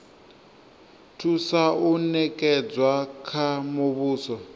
thusa o nekedzwa kha muvhuso